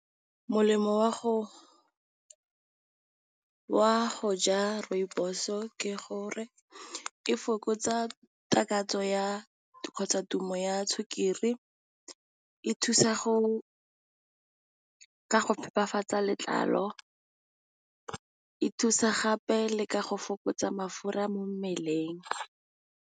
Molemo wa go ja rooibos-o ke gore e fokotsa takatso ya kgotsa tumo ya sukiri, e thusa ka go phepafatsa letlalo, e thusa gape le ka go fokotsa mafura mo mmeleng.